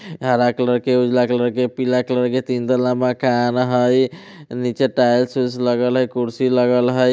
हरा कलर के उजला कलर के पीला कलर के तीन तल्ला मकान हाई नीचे टाइल्स - वाइल्स लगल हाई कुर्सी लगल हाई।